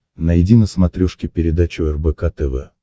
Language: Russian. найди на смотрешке передачу рбк тв